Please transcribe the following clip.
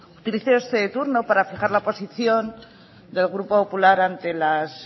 utilizo este turno para fijar la posición del grupo popular ante las